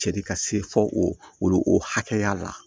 Cɛ de ka se fo o o hakɛya la